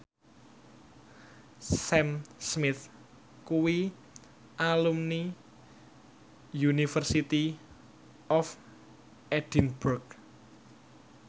Sam Smith kuwi alumni University of Edinburgh